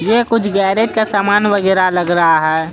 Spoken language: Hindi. ये कुछ गेरेज का समान वगैरा लग रहा है।